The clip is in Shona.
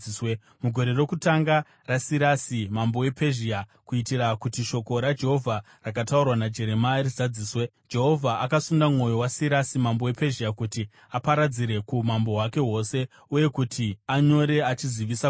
Mugore rokutanga raSirasi mambo wePezhia, kuitira kuti shoko raJehovha rakataurwa naJeremia rizadziswe, Jehovha akasunda mwoyo waSirasi mambo wePezhia kuti aparadzire kuumambo hwake hwose uye kuti anyore achizivisa kuti: